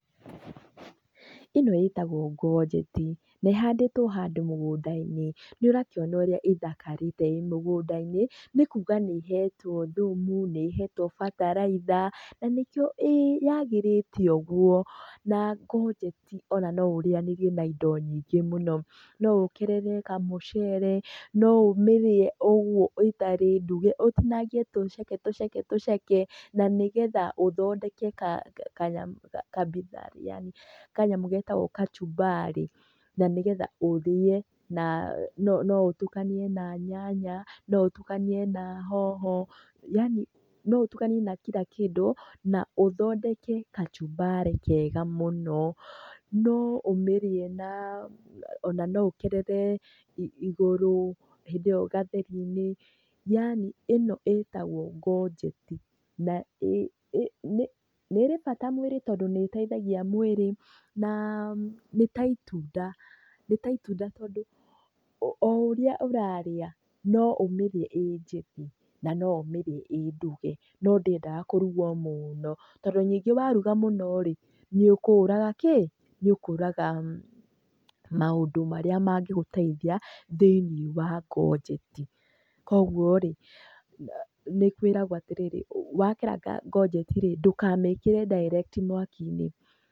Ĩno ĩtagwo gonjeti na ĩhandĩtwo handũ mũgũnda-inĩ. Nĩ ũrakiona ũrĩa ĩthakarĩte ĩĩ mũgũnda-inĩ nĩ kuga nĩ ĩhetwo thumu, nĩ ĩhetwo bataraitha na nĩkĩo yagĩrĩte uguo. Na gonjeti ona no ũrĩanĩrie na indo nyingĩ mũno, no ũkerere ka mucere, no ũmĩrĩe ũguo ĩtarĩ nduge ũtinagie tuceke tuceke tuceke, na nĩgetha ũthondeke ka bitharĩ yaani kanyamũ getagwo kachumbari. Na nĩgetha ũrĩe na no utukanie na nyanya, no utukanie na hoho yaani no ũtukanie na kila kĩndũ na ũthondeke kachumbari kega mũno. No ũmĩrie na ona no ũkerere igũrũ hĩndĩ ĩyo gatheri-inĩ yaani ĩno ĩtagwo gonjeti na nĩ ĩrĩ bata mwĩrĩ tondũ nĩ ĩteithagia mwĩrĩ na nĩ ta itunda, nĩ ta itunda tondũ o ũrĩa ũrarĩa, no ũmĩrĩe ĩĩ njĩthĩ na no ũmĩrĩe ĩ nduge, no ndĩendaga kũrugwo mũno tondũ ningĩ waruga mũno rĩ nĩũkũraga kĩ? Nĩ ũkũraga maũndũ marĩa magĩgũteithia thĩinĩ wa gonjeti. Koguo rĩ, nĩ kwĩragwo atĩrĩrĩ, wakeraga gonjeti rĩ ndũkamĩkĩre direct mwaki-inĩ.